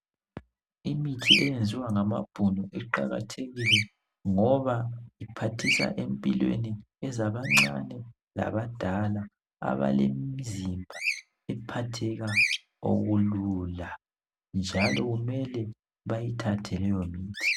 Imithi eyenziwa ngamabhunu iqakathekile ngoba iphathisa empilweni ezabancane labadala ,abelemzimba ephatheka okulula njalo kumele bayithathe leyo mithi.